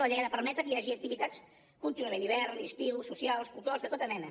la llei ha de permetre que hi hagi activitats contínuament hivern i estiu socials culturals de tota mena